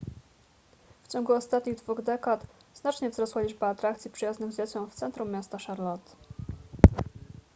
w ciągu ostatnich dwóch dekad znacznie wzrosła liczba atrakcji przyjaznych dzieciom w centrum miasta charlotte